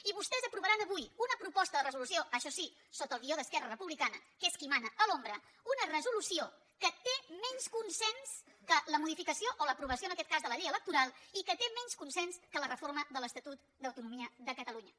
i vostès aprovaran avui una proposta de resolució això sí sota el guió d’esquerra republicana que és qui mana a l’ombra que té menys consens que la modificació o l’aprovació en aquest cas de la llei electoral i que té menys consens que la reforma de l’estatut d’autonomia de catalunya